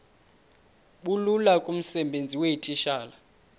bulula kumsebenzi weetitshala